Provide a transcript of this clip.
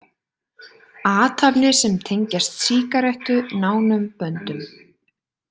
Athafnir, sem tengjast sígarettu nánum böndum.